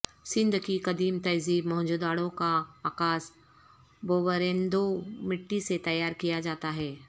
سندھ کی قدیم تہذیب موہنجودڑو کا عکاس بوریندو مٹی سے تیار کیا جاتا ہے